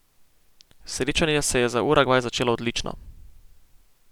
Srečanje se je za Urugvaj začelo odlično.